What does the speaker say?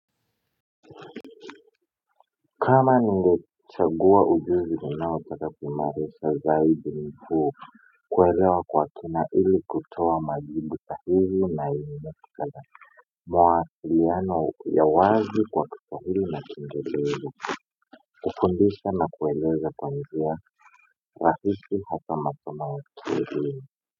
Kama ningechagua ujuzi ninaopata kuimarisha zaidi mfu kuelewa kwa kina ili kutoa majibu sahihi na ili matikala mawasliano ya wazi kwa kiswahili na kiingereza ili kutundisha na kuelewa za kwa njia rahisi hata matumaini.